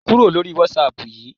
Kúrò lórí Whatsapp yìí!